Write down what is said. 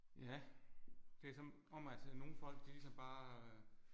Ja det er som om at nogle folk de ligesom bare